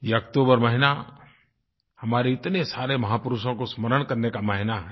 ये अक्तूबर महीना हमारे इतने सारे महापुरुषों को स्मरण करने का महीना है